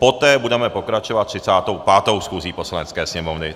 Poté budeme pokračovat 35. schůzí Poslanecké sněmovny.